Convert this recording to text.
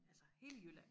Altså hele Jylland